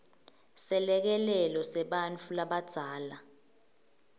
selekelelo sebantfu labadzala